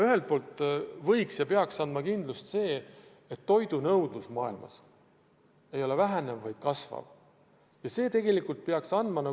Ühelt poolt peaks kindlust andma see, et toidunõudlus maailmas ei vähene, vaid kasvab – see peaks andma.